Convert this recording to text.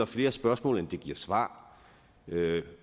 flere spørgsmål end det giver svar